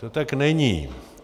To tak není.